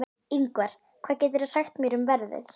Yngvar, hvað geturðu sagt mér um veðrið?